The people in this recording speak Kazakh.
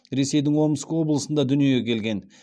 ресейдің омск облысында дүниеге келген